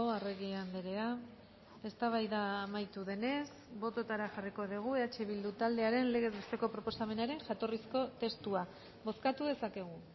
arregi andrea eztabaida amaitu denez bototara jarriko dugu eh bildu taldearen legezbesteko proposamenaren jatorrizko testua bozkatu dezakegu